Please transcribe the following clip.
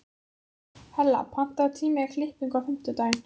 Hella, pantaðu tíma í klippingu á fimmtudaginn.